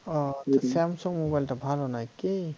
ও samsung mobile টা ভাল নয় কি?